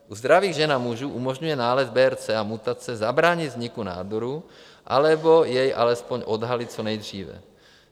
U zdravých žen a mužů umožňuje nález BRCA mutace zabránit vzniku nádoru, anebo jej alespoň odhalit co nejdříve.